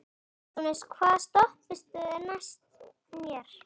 Neptúnus, hvaða stoppistöð er næst mér?